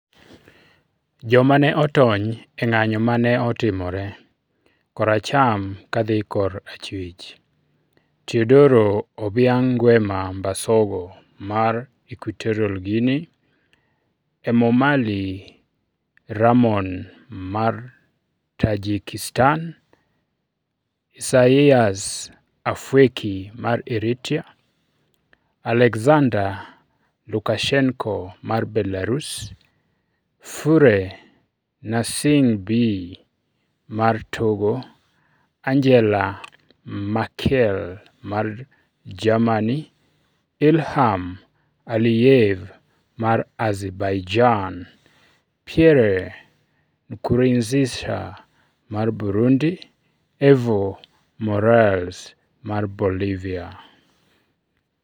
Joma ne otony e ng'anjo ma ne otimore: Koracham kadhi korachwich: Teodoro Obiang Nguema Mbasogo (Equatorial Guinea); Emomalii Rahmon (Tajikistan); Isaias Afwerki (Eritrea); Alexander Lukashenko (Belarus); Faure Gnassingbé (Togo); Angela Merkel (Germany); Ilham Aliyev (Azerbaijan); Pierre Nkurunziza (Burundi); Evo Morales (Bolivia).